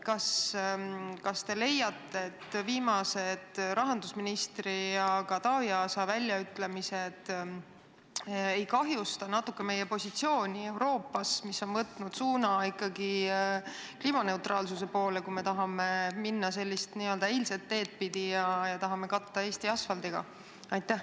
Kas te ei leia, et viimased rahandusministri ja Taavi Aasa väljaütlemised võivad natukene kahjustada meie positsiooni Euroopas – mis on võtnud suuna ikkagi kliimaneutraalsuse poole –, kui me tahame minna n-ö eilset teed pidi ja katta Eesti asfaldiga?